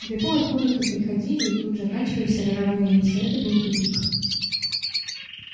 в депо откуда-то приходили и тут оканчивались ржавые рельсы это был тупик